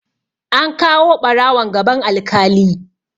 An kawo ɓarawon gaban alkali.